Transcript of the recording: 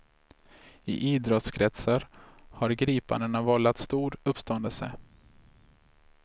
I idrottskretsar har gripandena vållat stor uppståndelse.